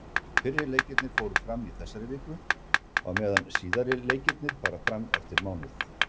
Fyrri leikirnir fóru fram í þessari viku, á meðan síðari leikirnir fara fram eftir mánuð.